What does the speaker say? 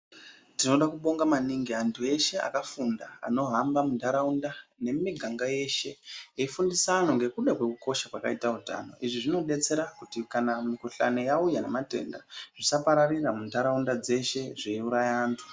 Tinoda kubonga maningi antu eshe akafunda, anohamba muntaraunda ,nemimiganga yeshe ,eifundisa vantu nekuda kwekukosha kwaakaita utano. Izvi zvinodetsera kuti kana mikhuhlani yauya nematenda zvisapararira muntaraunda dzeshe zveiuraya antu.